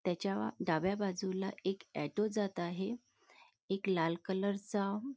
तेच्या डाव्या बाजूला एक ऑटो जात आहे एक लाल कलरचा --